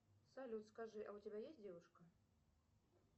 салют скажи а у тебя есть девушка